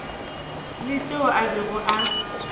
la tšeo a bego a